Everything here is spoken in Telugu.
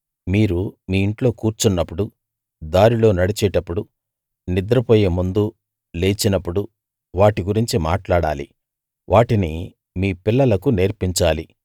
మీరు మీ ఇంట్లో కూర్చున్నప్పుడు దారిలో నడిచేటప్పుడు నిద్రపోయే ముందు లేచినప్పుడు వాటి గురించి మాట్లాడాలి వాటిని మీ పిల్లలకు నేర్పించాలి